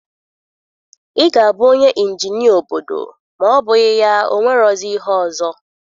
Ị ga-abụ onye injinia obodo ma ọ bụghị ya o nwerozi ihe ọzọ